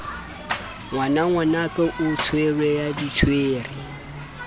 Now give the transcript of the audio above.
ngwanangwanake o tswere ya ditswere